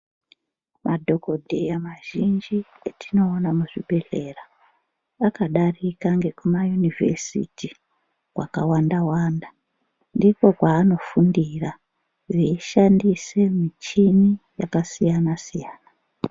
Madhokodheya mazhinji etinoona muzvibhedhlera akadarika ngekumayunivhesiti akasiyana siyana ndikwo kwaanogundira veishandise michini yakasiyana siyana.